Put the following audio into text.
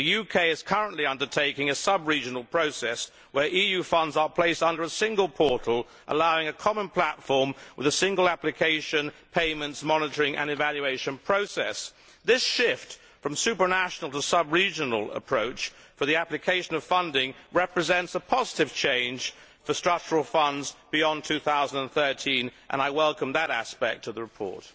The UK is currently undertaking a sub regional process, where EU funds are placed under a single portal allowing a common platform with a single application, payments, monitoring and evaluation process. This shift from supranational to subregional approach for the application of funding represents a positive change for Structural Funds beyond 2013, and I welcome that aspect of the report.